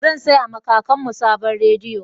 Zan saya ma kakanmu sabon rediyo